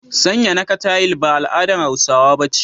Sanya naka tayil ba al'adar Hausawa ba ce.